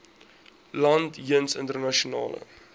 land jeens internasionale